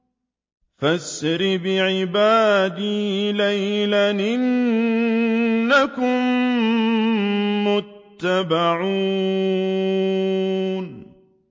فَأَسْرِ بِعِبَادِي لَيْلًا إِنَّكُم مُّتَّبَعُونَ